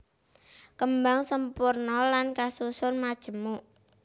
Kembang sampurna lan kasusun majemuk